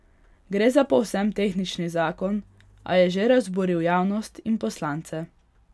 Gre za povsem tehnični zakon, a je že razburil javnost in poslance.